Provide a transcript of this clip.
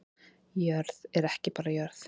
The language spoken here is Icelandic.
Jörð er ekki bara jörð